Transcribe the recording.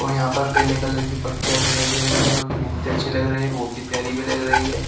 और यहां पर पहले कलर की पट्टियां दिखाई दे रही है जो कि बहुत ही अच्छी लग रही है बहुत ही प्यारी भी लग रही है।